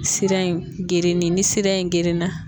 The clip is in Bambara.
Sira in gerenen ni sira in gerenna.